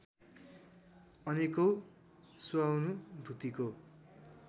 अनेकौँ स्वानुभूतिको